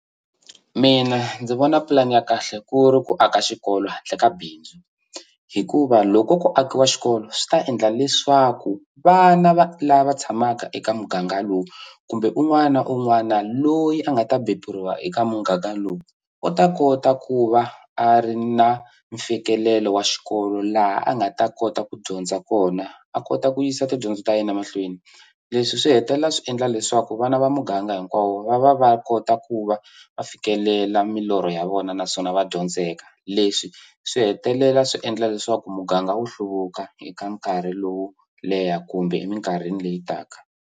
Mina ndzi vona pulani ya kahle ku ri ku aka xikolo handle ka bindzu hikuva loko ku akiwa xikolo swi ta endla leswaku vana va lava tshamaka eka muganga lowu kumbe un'wana na un'wana loyi a nga ta beburiwa eka muganga lowu u ta kota ku va a ri na mfikelelo wa xikolo laha a nga ta kota ku dyondza kona a kota ku yisa tidyondzo ta yena mahlweni leswi swi hetelela swi endla leswaku vana va muganga hinkwawo va va kota ku va va fikelela milorho ya vona naswona va dyondzeka leswi swi hetelela swi endla leswaku muganga wu hluvuka eka nkarhi lowu leha kumbe eminkarhini leyi taka.